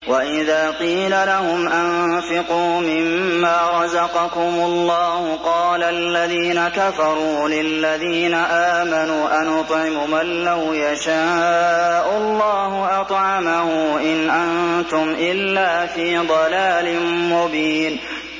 وَإِذَا قِيلَ لَهُمْ أَنفِقُوا مِمَّا رَزَقَكُمُ اللَّهُ قَالَ الَّذِينَ كَفَرُوا لِلَّذِينَ آمَنُوا أَنُطْعِمُ مَن لَّوْ يَشَاءُ اللَّهُ أَطْعَمَهُ إِنْ أَنتُمْ إِلَّا فِي ضَلَالٍ مُّبِينٍ